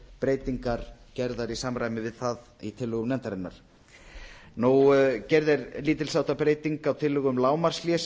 breytingar gerðar í samræmi við það í tillögum nefndarinnar gerð er lítilsháttar breyting á tillögu um að lágmarkshlé sem